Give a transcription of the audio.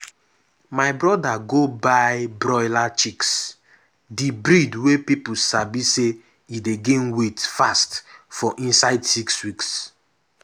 my brother go buy broiler chicks—di breed wey people sabi say e dey gain weight fast for inside six weeks.